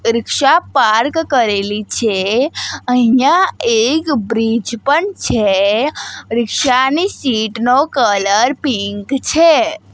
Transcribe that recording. રીક્ષા park કરેલી છે અહિંયા એક બ્રીજ પણ છે રીક્ષા ની સીટ નો કલર પિંક છે.